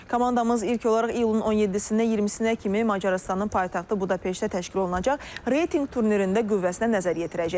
Komandamız ilk olaraq iyulun 17-dən 20-nə kimi Macarıstanın paytaxtı Budapeştdə təşkil olunacaq reytinq turnirində qüvvəsinə nəzər yetirəcək.